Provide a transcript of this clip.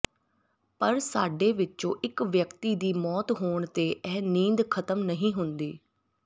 ਪਰ ਸਾਡੇ ਵਿੱਚੋ ਇਕ ਵਿਅਕਤੀ ਦੀ ਮੌਤ ਹੋਣ ਤੇ ਇਹ ਨੀਂਦ ਖਤਮ ਨਹੀਂ ਹੁੰਦੀ